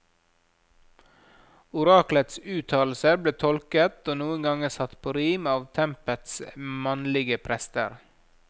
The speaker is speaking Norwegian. Oraklets uttalelser ble tolket og noen ganger satt på rim av tempets mannlige prester.